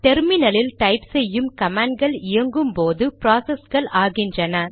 terminal இல் type செய்யும் கமாண்ட்கள் இயங்கும்போது ப்ராசஸ்கள் ஆகின்றன